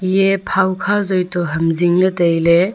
eiyeh pawkha joa toh ham jingle taile.